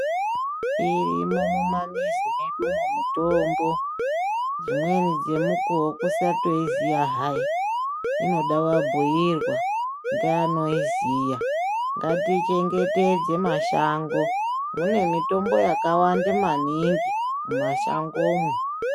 Irimo mumamizi medumo mitombo. Dzimweni dzemukuwo kusatoiziya hayi, inoda wabhuirwa ngeanoiziya. Ngatichengetedze mashango, mune mitombo yakawande maningi, mumashangomo.